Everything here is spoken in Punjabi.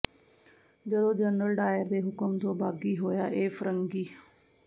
ਜਦੋਂ ਜਨਰਲ ਡਾਇਰ ਦੇ ਹੁਕਮ ਤੋਂ ਬਾਗੀ ਹੋਇਆ ਇਹ ਫਰੰਗੀ